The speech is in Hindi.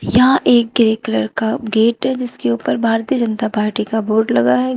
यहां एक ग्रे कलर का गेट है जिसके ऊपर भारतीय जनता पार्टी का बोर्ड लगा है।